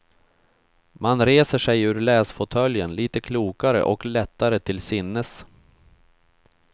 Man reser sig ur läsfåtöljen litet klokare och lättare till sinnes.